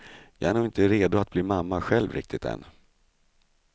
Jag är nog inte redo att bli mamma själv riktigt än.